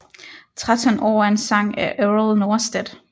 Tretton År er en sang af Errol Norstedt